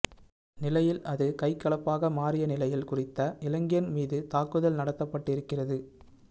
நிலையில் அது கைகலப்பாக மாறிய நிலையில் குறித்த இளைஞன் மீது தாக்குதல் நடத்தப்பட்டிருக்கிறது